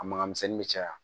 A maga misɛnnin bɛ caya